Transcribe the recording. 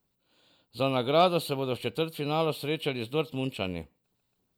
Za nagrado se bodo v četrtfinalu srečali z Dortmundčani.